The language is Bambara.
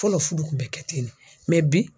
Fɔlɔ furu kun bɛ kɛ ten de, bi.